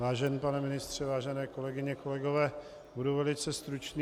Vážený pane ministře, vážené kolegyně, kolegové, budu velice stručný.